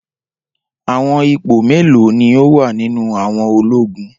Awọn ipo melo ni o wa ninu awọn ologun?